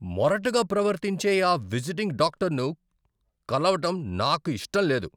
మొరటుగా ప్రవర్తించే ఆ విజిటింగ్ డాక్టర్ను కలవటం నాకు ఇష్టం లేదు.